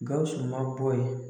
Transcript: Gawusu ma bɔ yen